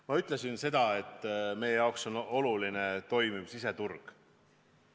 Ma ütlesin seda, et meie jaoks on oluline toimiv siseturg.